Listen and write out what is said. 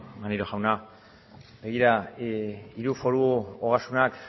maneiro jauna begira diru foru ogasunak